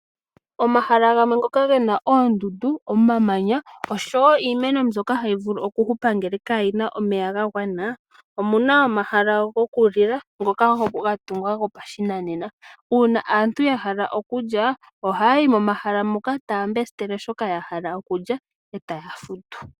Omahala ngoka gena oondundu oshowo iimeno mbyoka itayi vulu okuhupa ngelw kamuna omeya ga gwana omuna omahala go kulila ngoka ga tungwa go pashinanena uuna aantu yahala okulya oha yayi momahala moka taya mbesitele shoka ya hala okulya e taya futu.